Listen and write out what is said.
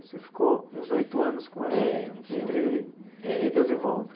Você ficou uns oito anos com ela Eh. Entre. Eh. Idas e voltas.